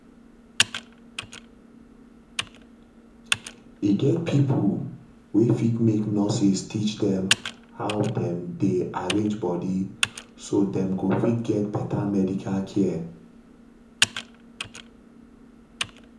e get pipo wey fit make nurses teach dem how dem dey arrange body so dem go fit get better medical care